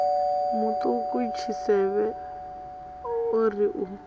muṱuku tshisevhe o ri u